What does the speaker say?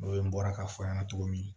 O ye n bɔra k'a fɔ n ɲɛna cogo min